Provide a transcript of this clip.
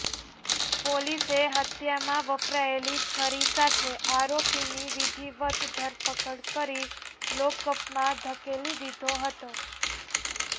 પોલીસે હત્યામાં વપરાયેલી છરી સાથે આરોપીની વિધિવત ધરપકડ કરી લોકઅપમાં ધકેલી દીધો હતો